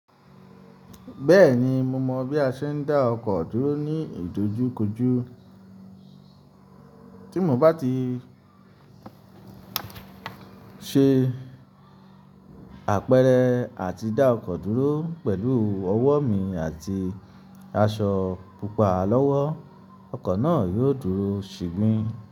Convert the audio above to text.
Bẹ́ẹ̀ni, mo mọ bí a ṣe ń dá ọkọ̀ dúró ní ìdojúkọjú. Tí mo bá ti ṣe àpẹẹrẹ àti dá ọkọ̀ dúró pẹ̀lú ọwọ́ mi àti aṣọ pupa lọ́wọ́, ọkọ̀ náà yóò dúró ṣìgbin.